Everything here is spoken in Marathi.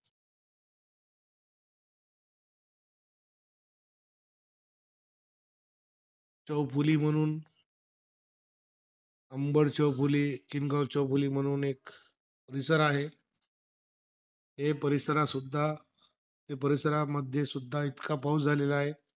चौफुली म्हणून अंबड चौफुली, किनगाव चौफुली म्हणून एक परिसर आहे. ते परिसरातसुद्धा ते परिसरामध्ये सुद्धा इतका पाऊस झालेला आहे.